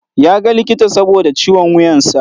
Ya ga likita saboda ciwon wuyan sa.